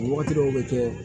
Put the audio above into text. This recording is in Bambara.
Wagati dɔw bɛ kɛ